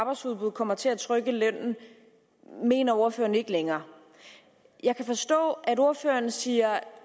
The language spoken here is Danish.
arbejdsudbud kommer til at trykke lønnen mener ordføreren ikke længere jeg kan forstå at ordføreren siger at